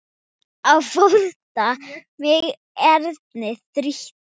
Á flótta mig erindi þrýtur.